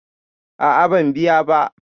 A'a ban biya ba